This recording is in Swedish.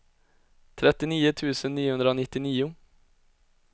trettionio tusen niohundranittionio